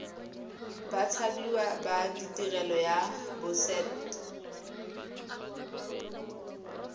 bathapiwa ba tirelo ya boset